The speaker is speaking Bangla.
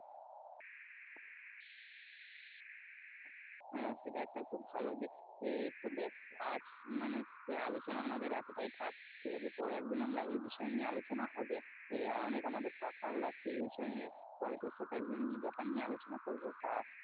হ্যাঁ সেটা একটা খুব ভালো দিক আহ তো বেশ আজ মানে আহ আলোচনা আমাদের এতটাই থাক ঠিক আছে পরে একদিন আমরা এই বিষয় নিয়ে আলোচনা হবে আহ আর অনেক আমাদের কথা হলো আজকে এই বিষয় নিয়ে পরে তোর সাথে একদিন এই ব্যাপার নিয়ে আলোচনা করবো তা,